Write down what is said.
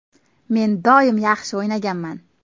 Men doim yaxshi o‘ynaganman.